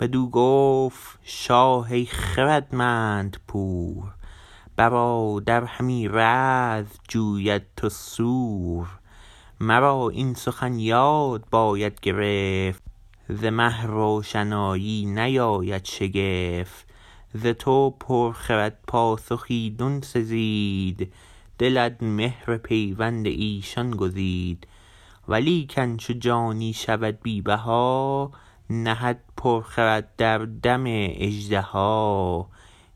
بدو گفت شاه ای خردمند پور برادر همی رزم جوید تو سور مرا این سخن یاد باید گرفت ز مه روشنایی نیاید شگفت ز تو پر خرد پاسخ ایدون سزید دلت مهر پیوند ایشان گزید ولیکن چو جانی شود بی بها نهد پر خرد در دم اژدها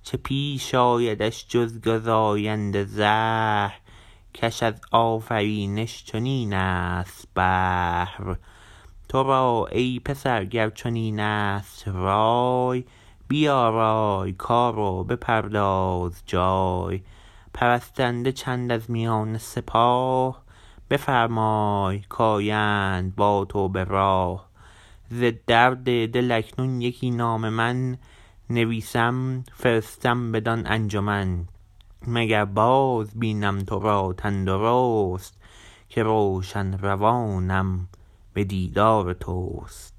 چه پیش آیدش جز گزاینده زهر کش از آفرینش چنین است بهر ترا ای پسر گر چنین است رای بیارای کار و بپرداز جای پرستنده چند از میان سپاه بفرمای کایند با تو به راه ز درد دل اکنون یکی نامه من نویسم فرستم بدان انجمن مگر باز بینم ترا تن درست که روشن روانم به دیدار تست